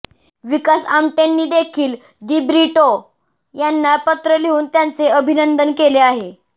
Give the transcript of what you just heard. विकास आमटेंनी देखील दिब्रिटो यांना पत्र लिहून त्यांचे अभिनंदन केले आहे